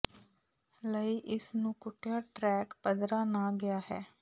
ਲਈ ਇਸ ਨੂੰ ਕੁੱਟਿਆ ਟਰੈਕ ਪੱਧਰਾ ਨਾ ਗਿਆ ਹੈ